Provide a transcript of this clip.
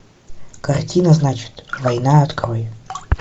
картина значит война открой